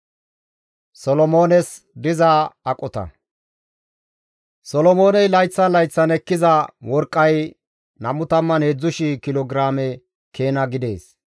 Solomooney layththan layththan ekkiza worqqay 23,000 kilo giraame keena gidees.